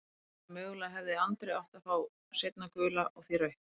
Þannig að mögulega hefði Andri átt að fá seinna gula og því rautt?